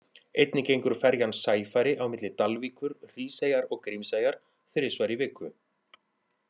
Einnig gengur ferjan Sæfari á milli Dalvíkur, Hríseyjar og Grímseyjar þrisvar í viku.